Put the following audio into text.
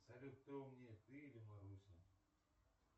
салют кто умнее ты или маруся